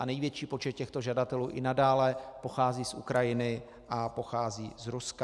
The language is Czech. A největší počet těchto žadatelů i nadále pochází z Ukrajiny a pochází z Ruska.